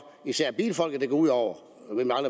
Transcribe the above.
især bilfolket det går ud over